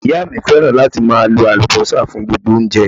Ìyá mi fẹ́ràn láti máa lo Àlùbọ́sà fún gbogbo oúnjẹ.